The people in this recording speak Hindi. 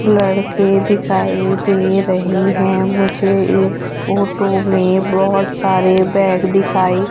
लड़के दिखाई दे रहे हैं मुझे इस फोटो में बहोत सारे बैग दिखाई--